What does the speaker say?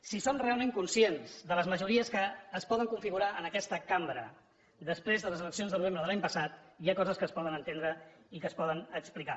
si som realment conscients de les majories que es poden configurar en aquesta cambra després de les eleccions del novembre de l’any passat hi ha coses que es poden entendre i que es poden explicar